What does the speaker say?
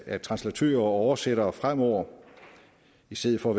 at translatører og oversættere frem over i stedet for